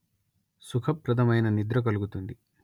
సుఖప్రదమైన నిద్ర కలుగుతుంది